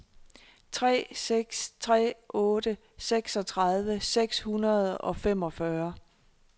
tre seks tre otte seksogtredive seks hundrede og femogfyrre